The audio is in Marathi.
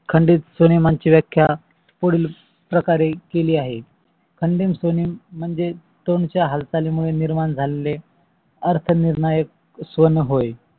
खंडित स्वनांची व्याख्या पुढील प्रमाणे केली आहे. खंडित स्वने म्हणजे स्व्नेच्या हालचाली मुले निर्माण झालेले अर्थ निर्णायक स्वन होय.